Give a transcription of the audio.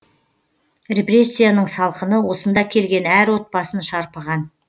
репрессияның салқыны осында келген әр отбасын шарпыған